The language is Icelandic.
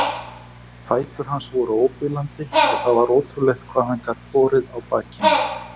Fætur hans voru óbilandi og það var ótrúlegt hvað hann gat borið á bakinu.